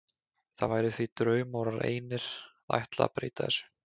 Það væri því draumórar einir að ætla að breyta þessu.